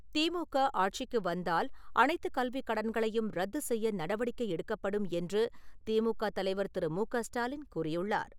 திமுக ஆட்சிக்கு வந்தால் அனைத்து கல்வி கடன்களையும் ரத்து செய்ய நடவடிக்கை எடுக்கப்படும் என்று திமுக தலைவர் திரு. மு. க. ஸ்டாலின் கூறியுள்ளார்.